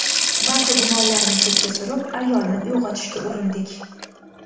Barcha gumonlarni chetga surib, ayolni uyg‘otishga urindik.